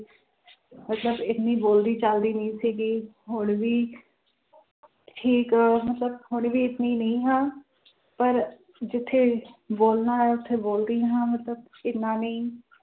ਮਤਲਬ ਇੰਨੀ ਬੋਲਦੀ ਚਾਲਦੀ ਨਹੀਂ ਸੀਗੀ ਹੁਣ ਵੀ ਠੀਕ ਮਤਲਬ ਹੁਣ ਵੀ ਇੰਨੀ ਨਹੀਂ ਹਾਂ ਪਰ ਜਿੱਥੇ ਬੋਲਣਾ ਹੈ ਉੱਥੇ ਬੋਲਦੀ ਹਾਂ ਮਤਲਬ ਇੰਨਾ ਨਹੀਂ